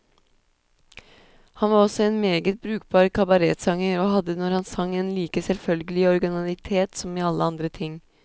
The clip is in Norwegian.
Han var også en meget brukbar kabaretsanger, og hadde, når han sang, en like selvfølgelig originalitet som i alle andre ting.